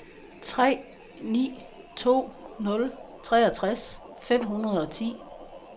tre ni to nul treogtres fem hundrede og ti